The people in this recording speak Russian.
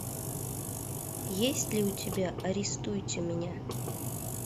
есть ли у тебя арестуйте меня